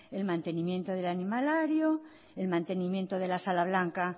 el mantenimiento del animalario el mantenimiento de la sala blanca